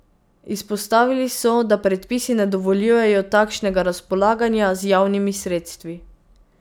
Izpostavili so, da predpisi ne dovoljujejo takšnega razpolaganja z javnimi sredstvi.